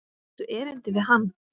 Áttu erindi við hann?